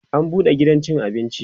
an buɗe gidan cin abinci